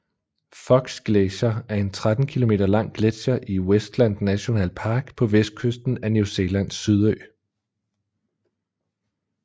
Fox Glacier er en 13 km lang gletsjer i Westland National Park på vestkysten af New Zealands Sydø